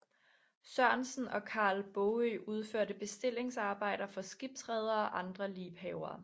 Sørensen og Carl Baagøe udførte bestillingsarbejder for skibsredere og andre liebhavere